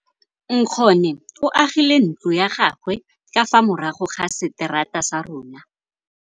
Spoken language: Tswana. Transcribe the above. Nkgonne o agile ntlo ya gagwe ka fa morago ga seterata sa rona.